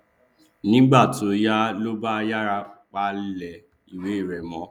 nígbà tó yá ló bá yára palẹ ìwé rẹ mọ